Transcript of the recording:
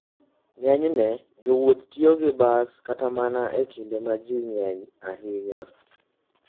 Ng'eny jowuoth tiyo gi bas kata mana e kinde ma ji ng'enyie ahinya.